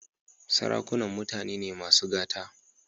Sarakunan mutane ne masu gata.